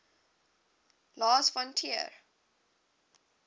lars von trier